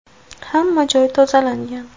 Hamma joy tozalangan.